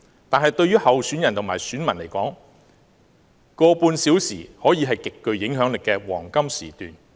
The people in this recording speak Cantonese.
但是，對於候選人和選民而言 ，1.5 小時可以是極具影響力的黃金時段。